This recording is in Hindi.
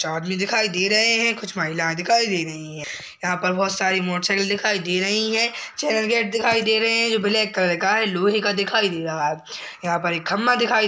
पर कुछ आदमी दिखाई दे रहे हैं। कुछ महिलाएं दिखाई दे रही हैं। यहाॅं पास बोहोत सारी मोटरसाइकिल दिखाई दे रही हैं। चैनल गेट दिखाई दे रहे हैं जो ब्लैक कलर के हैं। लोहे का दिखाई दे रहा है यहां पर एक खंभा दिखाई --